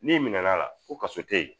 N'i minɛna o ka so te yen